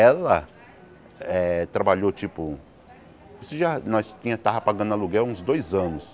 Ela eh trabalhou, tipo... Isso já nós tinha estava pagando aluguel há uns dois anos.